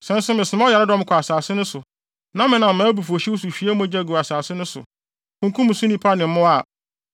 “Sɛ nso mesoma ɔyaredɔm kɔ asase no so na menam mʼabufuwhyew so hwie mogya gu wɔ asase no so, kunkum so nnipa ne wɔn mmoa a,